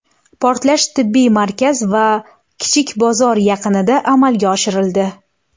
Portlash tibbiy markaz va kichik bozor yaqinida amalga oshirildi.